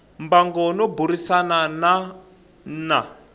mbango no burisana na n